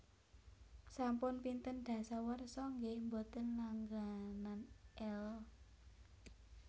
Sampun pinten dasawarsa nggeh mboten langganan Elle?